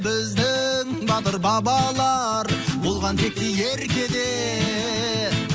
біздің батыр бабалар болған текті ерке де